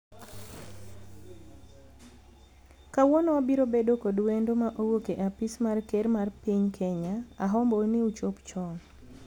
kawuono wabiro bedo kod wendo ma owuok e apis mar ker mar piny Kenya , ahombou ni uchop chon